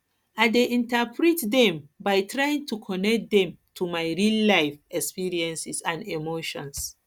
i dey interpret dem by trying to connect dem to my reallife experiences and emotions